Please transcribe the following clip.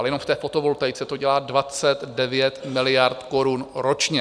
Ale jenom v té fotovoltaice to dělá 29 miliard korun ročně.